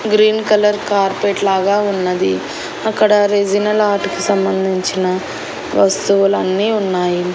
Green colour carpet లాగా ఉన్నది అక్కడ రెసినల్ ఆర్ట్ కి సంబంధించిన వస్తువులు అన్ని ఉన్నాయి.